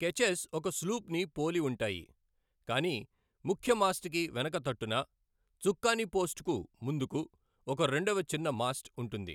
Catchers ఒక స్లూప్ను పోలి ఉంటాయి, కాని ముఖ్య మాస్ట్ కి వెనక తట్టున, చుక్కాని పోస్ట్కు ముందుకు, ఒక రెండవ చిన్న మాస్ట్ ఉంటుంది.